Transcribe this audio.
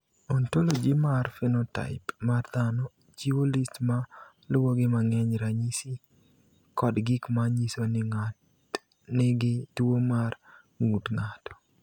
"Ontology mar phenotaip mar dhano chiwo list ma luwogi mag ranyisi kod gik ma nyiso ni ng’at nigi tuwo mar ng’ut ng’ato."